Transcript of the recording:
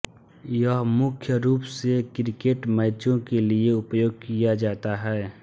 यह मुख्य रूप से क्रिकेट मैचों के लिए उपयोग किया जाता है